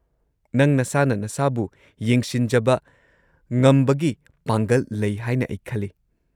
ꯅꯪ ꯅꯁꯥꯅ ꯅꯁꯥꯕꯨ ꯌꯦꯡꯁꯤꯟꯖꯕ ꯉꯝꯕꯒꯤ ꯄꯥꯡꯒꯜ ꯂꯩ ꯍꯥꯏꯅ ꯑꯩ ꯈꯜꯂꯤ꯫